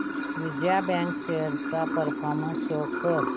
Vijaya bank shares चा performance show कर